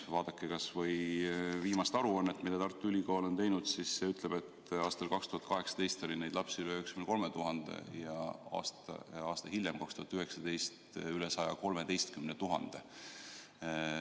Vaadake kas või viimast aruannet, mille Tartu Ülikool on teinud ja mis ütleb, et aastal 2018 oli neid lapsi üle 93 000 ja aasta hiljem, 2019, üle 113 000.